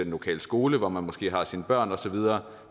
lokale skole hvor man måske har sine børn og så videre